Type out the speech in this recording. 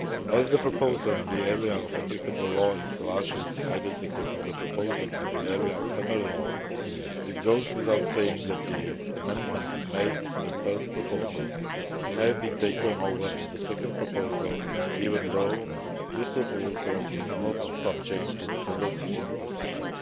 As the proposal in the area of applicable law is largely identical to the proposal in the area of family law, it goes without saying that the amendments made to the first proposal have been taken over in the second proposal, even though that proposal is not subject to the codecision procedure.